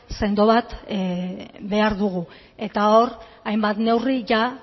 sendo bat behar dugu eta hor hainbat neurri